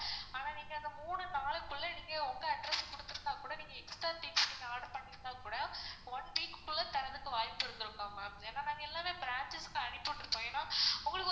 ஆனா நீங்க அந்த மூணு நாளுக்குள்ள நீங்க உங்க address குடுத்துருந்தா கூட நீங்க extra things order பண்ணும் போது கூட one week குள்ள தரத்துக்கு வாய்ப்பு இருந்துருக்கும் ma'am ஏனா நாங்க எல்லாமே branches க்கு அனுப்பி விட்டுருப்போம் ஏன்னா உங்களுக்கு